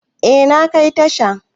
Eh, na kai tasha.